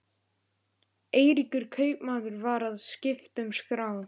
Eiríkur kaupmaður var að skipta um skrá.